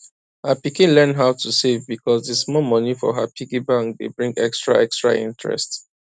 her pikin learn how to save because d small money for her piggy bank dey bring extra extra interest